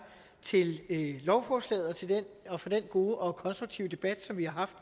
til lovforslaget og for den gode og konstruktive debat som vi har haft